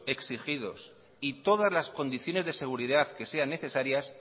exigidos y todas las condiciones de seguridad que sean necesarias